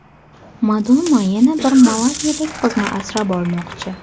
Madonna yana bir malavilik qizni asrab olmoqchi.